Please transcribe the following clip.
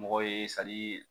Mɔgɔ ye